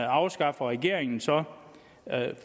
afskaffer regeringen så